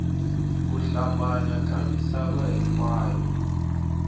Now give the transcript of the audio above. ku hlambanya ka misava hinkwayo